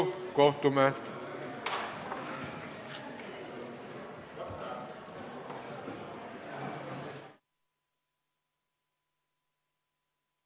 Istungi lõpp kell 12.14.